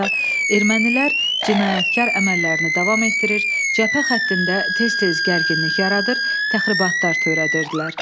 ermənilər cinayətkar əməllərini davam etdirir, cəbhə xəttində tez-tez gərginlik yaradır, təxribatlar törədirdilər.